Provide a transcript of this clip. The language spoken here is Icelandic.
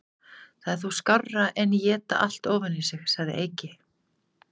Það er þó skárra en éta allt ofan í sig, segir Eiki.